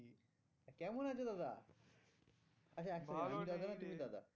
কেমন আছো দাদা? আচ্ছা এক second